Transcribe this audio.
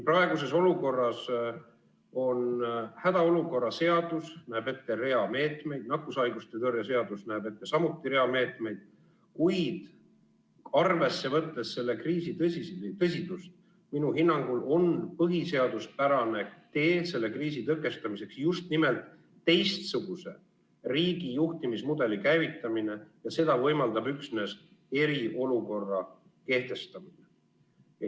Praeguses olukorras hädaolukorra seadus näeb ette rea meetmeid, nakkushaiguste tõrje seadus näeb samuti ette rea meetmeid, kuid arvesse võttes selle kriisi tõsidust, on minu hinnangul põhiseaduspärane tee selle kriisi tõkestamiseks just nimelt teistsuguse riigijuhtimismudeli käivitamine, ja seda võimaldab üksnes eriolukorra kehtestamine.